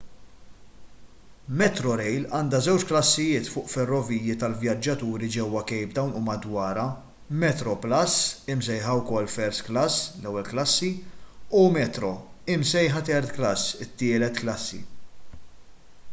metrorail għandha żewġ klassijiet fuq ferroviji tal-vjaġġaturi ġewwa cape town u madwarha: metroplus imsejħa wkoll first class” ewwel klassi” u metro imsejħa third class” tielet klassi”